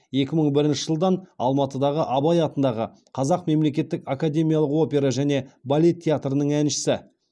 екі мың бірінші жылдан алматыдағы абай атындағы қазақ мемлекеттік академиялық опера және балет театрының әншісі